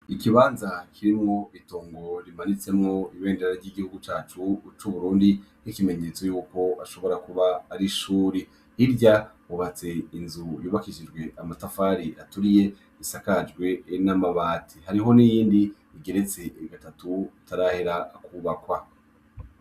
Ikibanza kirimo itongo rimanitsemwo ibendera ry'igihugu cacu c'uburundi nk'ikimenyetso yuko bashobora kuba ari ishuri, hirya hubatse inzu yubakishijwe n'amatafari aturiye isakajwe n'amabati, hariyo n'iyindi igeretse gatatu itarahera kwubakwa.